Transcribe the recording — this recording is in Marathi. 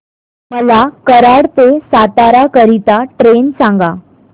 मला कराड ते सातारा करीता ट्रेन सांगा